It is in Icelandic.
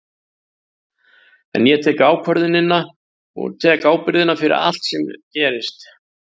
En ég tek ákvörðunina og tek ábyrgðina fyrir allt sem gerist.